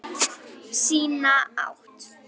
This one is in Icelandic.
Sína átt.